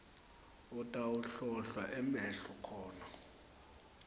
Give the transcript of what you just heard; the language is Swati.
utawuhlolwa emehlo khona